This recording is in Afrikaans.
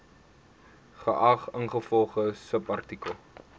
geag ingevolge subartikel